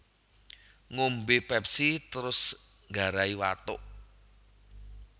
Ngombe Pepsi terus nggarai watuk